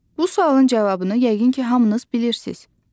Bu sualın cavabını yəqin ki, hamınız bilirsiz.